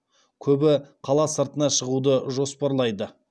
көбі қала сыртына шығуды жоспарлайды